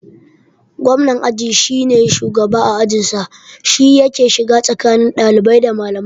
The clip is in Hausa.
Gwamnan aji shine shugaban a ajin sa, shi yake shiga tsakani ɗalibai da malamai